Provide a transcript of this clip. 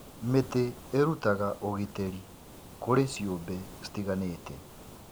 Mĩtĩ ĩrutaga ũgitĩri kũrĩ ciũmbe citiganĩte.